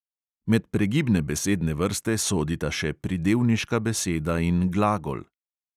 Med pregibne besedne vrste sodita še pridevniška beseda in glagol.